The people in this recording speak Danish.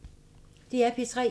DR P3